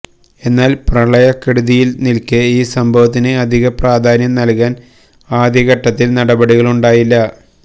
എന്നാല് പ്രളയക്കെടുതിയില് നില്ക്കേ ഈ സംഭവത്തിന് അധികപ്രാധാന്യം നല്കാന് ആദ്യഘട്ടതില് നടപടികളുണ്ടായില്ല